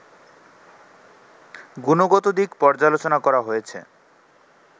গুণগত দিক পর্যালোচনা করা হয়েছে